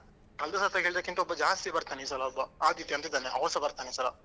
ಕಳ್ದ ಸತಿ ಹೇಳ್ದಕ್ಕಿಂತ ಒಬ್ಬ ಜಾಸ್ತಿ ಬರ್ತಾನೆ ಈ ಸಲ ಒಬ್ಬ ಆದಿತ್ಯ ಅಂತ ಇದ್ದಾನೆ ಆವಸ ಬರ್ತಾನೆ ಈ ಸಲ.